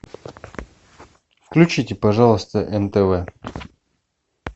включите пожалуйста нтв